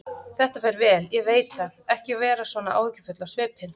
Þetta fer vel, ég veit það, ekki vera svona áhyggjufull á svipinn.